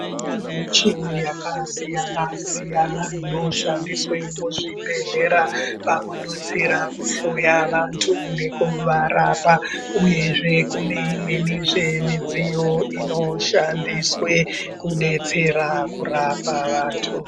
Kune michini yakasiyana siyana inoshandiswa muzvibhedhlera pakudetsera kuhloya vandu nekuvarapa uyezve kune imwenizve midziyo inoshandiswe kudetsera kurapa vandu.